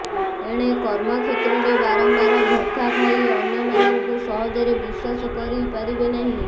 ଏଣେ କର୍ମକ୍ଷେତ୍ରରେ ବାରମ୍ବାର ଧୋକା ଖାଇ ଅନ୍ୟମାନଙ୍କୁ ସହଜରେ ବିଶ୍ୱାସ କରିପାରିବେ ନାହିଁ